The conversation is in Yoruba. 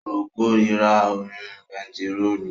Ó korira òórùn bentiróòlù